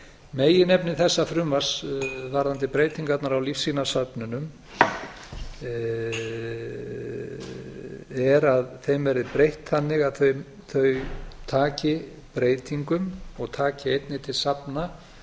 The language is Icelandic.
meginefni þessa frumvarps varðandi breytingarnar á lífsýnasöfnunum er að þeim verði breytt þannig að þau taki breytingum og taki einnig til safna